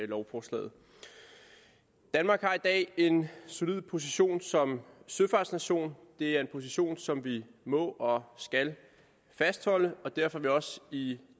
lovforslaget danmark har i dag en solid position som søfartsnation det er en position som vi må og skal fastholde og derfor er vi også i